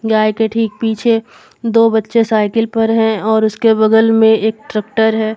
गाय के ठीक पीछे दो बच्चे साइकिल पर है और उसके बगल में एक ट्रैक्टर है।